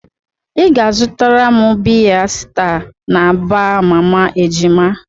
Ị ga-azụtara m biya sta na baa mama ejima.